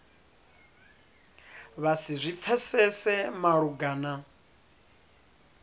vha si zwi pfesese malugana